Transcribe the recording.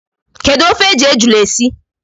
Kedu ofe e ji ejula esi?